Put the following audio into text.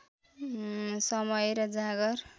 समय र जाँगर